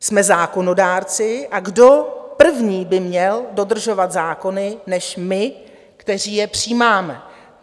Jsme zákonodárci, a kdo první by měl dodržovat zákony než my, kteří je přijímáme?